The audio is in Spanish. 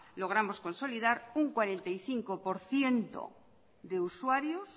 logramos consolidar un cuarenta y cinco por ciento de usuarios